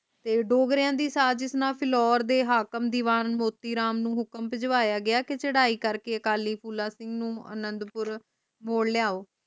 ਤੇ ਡੋਗਰਿਆਂ ਦੀ ਸਾਜਿਸ਼ ਨਾਲ ਫਿਲੌਰ ਦੇ ਹਾਕਮ ਦੀਵਾਰਾਂ ਮੋਤੀਰਾਮ ਨੂੰ ਹੁਕਮ ਭਿਜਵਾਇਆ ਗਿਆ ਕਿ ਚੜਾਈ ਕਰਕੇ ਅਕਾਲੀ ਫੂਲਾ ਸਿੰਘ ਨੂੰ ਅਨੰਦਪੁਰ ਮੋੜ ਲੈਅਯੋ